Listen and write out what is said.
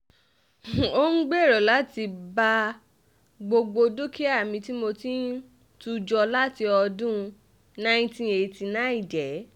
ó ń gbèrò láti ba gbogbo dúkìá mi tí mo ti ń tù jọ láti ọdún um nineteen eighty nine jẹ́